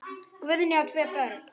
Guðný á tvö börn.